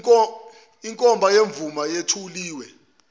inkomba yemvume yethuliwe